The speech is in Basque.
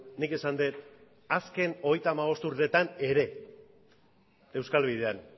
nik esan dut azken hogeita hamabost urteetan ere euskal bidean